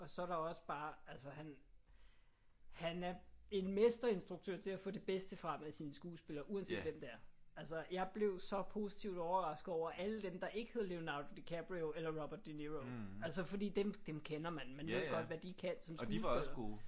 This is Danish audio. Og så er der også bare altså han han er en mesterinstruktør til at få det bedste frem af sine skuespillere uanset hvem det er. Altså jeg blev så positivt overrasket over alle dem der ikke hedder Leonardo DiCaprio eller Robert De Niro. Altså fordi dem dem kender man. Man ved godt hvad de kan som skuespillere